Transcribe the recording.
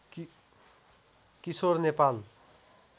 Kishore Nepal